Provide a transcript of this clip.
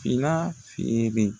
Fila feere.